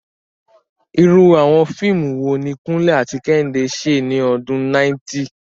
Irú àwọn fíìmù wo ni Kunle àti Kehinde ṣe ní ọdún 90?